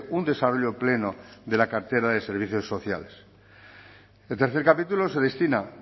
un desarrollo pleno de la cartera de servicios sociales el tercer capítulo se destina